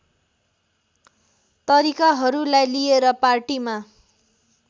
तरिकाहरूलाई लिएर पार्टीमा